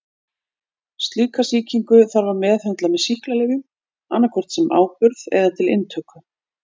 Slíka sýkingu þarf að meðhöndla með sýklalyfjum annað hvort sem áburð eða til inntöku.